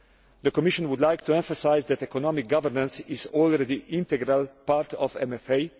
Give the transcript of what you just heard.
The Commission would like to emphasise that economic governance is already an integral part of MFA.